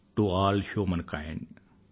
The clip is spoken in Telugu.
to all humankind